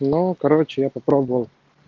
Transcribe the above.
ну короче я попробовал